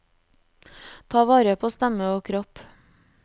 Ta vare på stemme og kropp.